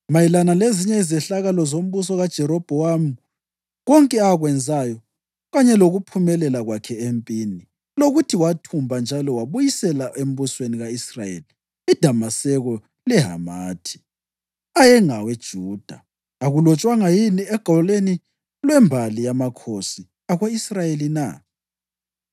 Mayelana lezinye izehlakalo zombuso kaJerobhowamu, konke akwenzayo, kanye lokuphumelela kwakhe empini, lokuthi wathumba njani wabuyisela embusweni ka-Israyeli iDamaseko leHamathi, ayengawe Juda, akulotshwanga yini egwalweni lwembali yamakhosi ako-Israyeli na?